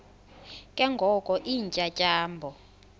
ke ngoko iintyatyambo